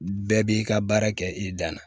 Bɛɛ b'i ka baara kɛ i dan na